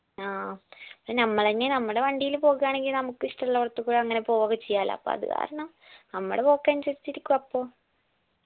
ആ ഞമ്മളെന്നേണ് മ്മടെ വണ്ടീല് പോകുയാണെങ്കിൽ നമ്മക്ക് ഇഷ്ടുള്ളോടത്ത് കൂടാ അങ്ങനെ പോവൊക്കെ ചെയ്യാലോ അപ്പൊ അത് കാരണം നമ്മടെ പോക്കനുസരിച്ച് ഇരിക്കു അപ്പൊ